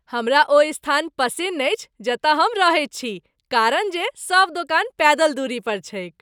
हमरा ओ स्थान पसिन्न अछि जतय हम रहैत छी कारण जे सभ दोकान पैदल दूरी पर छैक ।